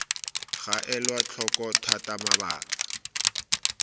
ga elwa tlhoko thata mabaka